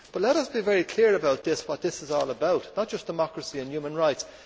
Let us be very clear about what this is all about not just democracy and human rights.